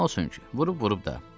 Nə olsun ki, vurub-vurub da.